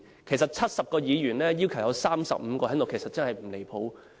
其實70名議員當中，要求有35人在席，真的不離譜。